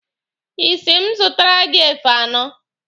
Ị sị m zụtara gị efe anọ.